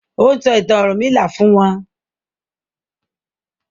O n sọ ìtàn ọrunmila fún wón